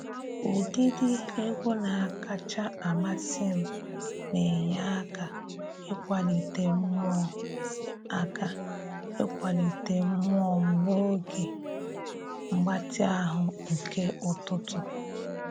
Ụdịdị egwu na-akacha amasị m na enye aka ịkwalite mmụọ aka ịkwalite mmụọ m n'oge mgbatị ahụ nke ụtụtụ.